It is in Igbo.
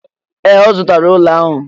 Ee! Ọ zụtala ụlọ ahụ.